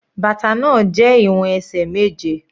Bàtà náà jẹ́ ìwọ̀n ẹsẹ̀ méje.